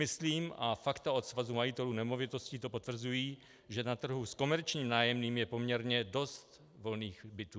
Myslím, a fakta od Svazu majitelů nemovitostí to potvrzují, že na trhu s komerčním nájemným je poměrně dost volných bytů.